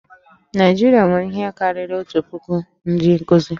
Naịjirịa nwere ihe karịrị otu puku ndị nkuzi